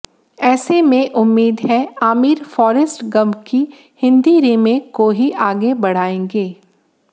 ऐसे में उम्मीद है आमिर फॉरेस्ट गंप की हिंदी रीमेक को ही आगे बढ़ांएगे